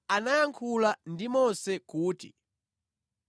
Yehova anayankhula ndi Mose kuti,